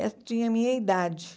E tinha a minha idade.